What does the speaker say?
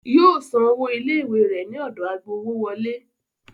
Yóò san owó ilé-ìwé rẹ̀ ní ọ̀dọ̀ agbowówọlé.